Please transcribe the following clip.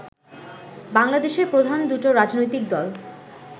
বাংলাদেশের প্রধান দুটো রাজনৈতিক দল